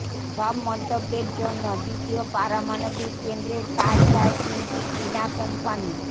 সব মন্তব্যের জন্য দ্বিতীয় পারমাণবিক কেন্দ্রের কাজ চায় তিনটি চীনা কোম্পানী